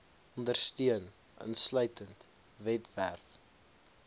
ondersteun insluitend webwerf